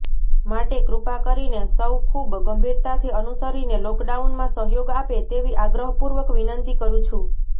માટે કૃપા કરીને સૌ ખૂબ ગંભીરતાથી અનુસરીને લોકડાઉનમાં સહયોગ આપે તેવી આગ્રહપૂર્વક વિનંતી કરું છું